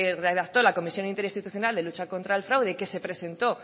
redactó la comisión interinstitucional de lucha contra el fraude que se presentó